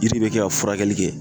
Yiri be kɛ ka furakɛli kɛ